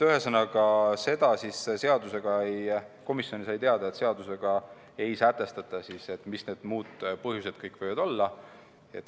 Ühesõnaga, komisjon sai teada, et seadusega ei sätestata, mis need muud põhjused kõik võivad olla.